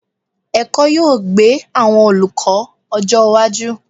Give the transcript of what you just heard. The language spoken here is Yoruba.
Ẹ̀kọ́ yóò gbé àwọn olùkọ́ ọjọ́ iwájú.